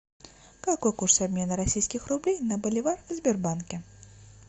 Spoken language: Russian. какой курс обмена российских рублей на боливар в сбербанке